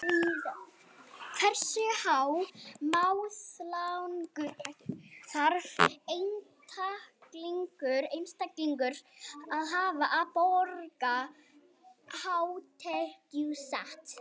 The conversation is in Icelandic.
Hversu há mánaðarlaun þarf einstaklingur að hafa til að borga hátekjuskatt?